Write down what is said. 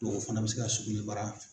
o fana bɛ se ka sugunɛbara.